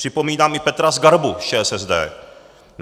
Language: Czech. Připomínám i Petra Zgarbu z ČSSD.